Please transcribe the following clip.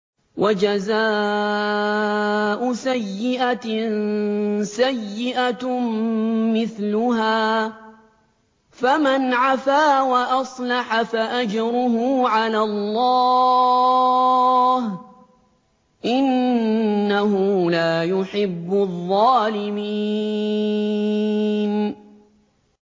وَجَزَاءُ سَيِّئَةٍ سَيِّئَةٌ مِّثْلُهَا ۖ فَمَنْ عَفَا وَأَصْلَحَ فَأَجْرُهُ عَلَى اللَّهِ ۚ إِنَّهُ لَا يُحِبُّ الظَّالِمِينَ